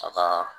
A ka